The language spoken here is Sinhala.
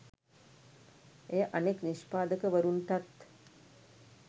එය අනෙක් නිෂ්පාදකවරුන්ටත්